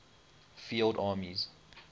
field armies